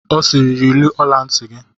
Ọ siiri, yiri ọla ntị!